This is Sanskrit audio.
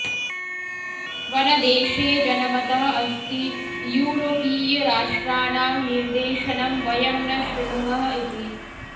वनदेशे जनमतः अस्ति युरोपीयराष्ट्राणां निर्देशनं वयं न शृणुमः इति